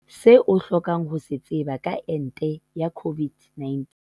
Se o hlokang ho se tseba ka ente ya COVID-19